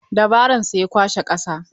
Da baron sa ya kwashe ƙasa.